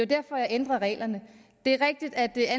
derfor jeg ændrer reglerne det er rigtigt at det er